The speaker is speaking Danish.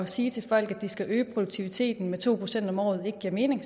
sige til folk at de skal øge produktiviteten med to procent om året ikke giver mening